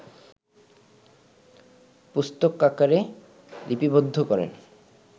পুস্তকাকারে লিপিবদ্ধ করেন